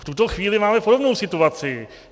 V tuto chvíli máme podobnou situaci.